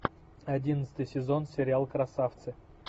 одиннадцатый сезон сериал красавцы